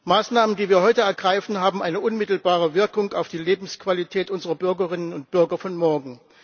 Maßnahmen, die wir heute ergreifen, haben eine unmittelbare Wirkung auf die Lebensqualität unserer Bürgerinnen und Bürger von morgen.